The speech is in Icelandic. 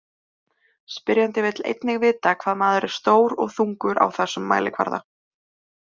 Spyrjandi vill einnig vita hvað maður er stór og þungur á þessum mælikvarða.